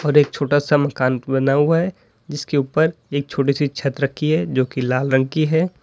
और एक छोटा सा मकान बना हुआ है जिसके ऊपर एक छोटी सी छत रखी है जो की लाल रंग की है।